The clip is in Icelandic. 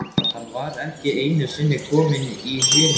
Hann var ekki einusinni kominn í Húnaver.